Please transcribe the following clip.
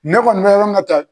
Ne kɔni bɛ yɔrɔ min na tan